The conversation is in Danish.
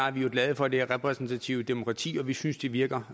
er vi jo glade for det repræsentative demokrati og vi synes det virker